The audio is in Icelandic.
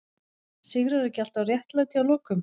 Sigrar ekki alltaf réttlæti að lokum?